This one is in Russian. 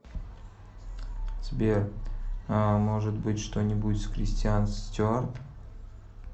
сбер ааа может быть что нибудь с кристианц стюард